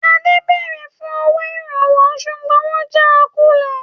Adé béèrè fún owó Ìrànwọ́ ṣùgbọ́n wọn jà kulẹ̀